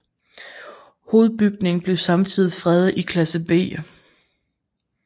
Hovedbygningen blev samtidig fredet i klasse B